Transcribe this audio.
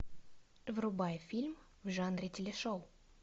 врубай фильм в жанре телешоу